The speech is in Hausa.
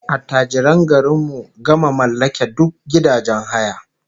Attajiran garin mu gama mallake duk gidajen haya